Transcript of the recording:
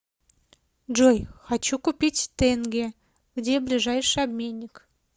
джой хочу купить тенге где ближайший обменник